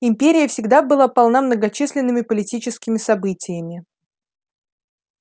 империя всегда была полна многочисленными политическими событиями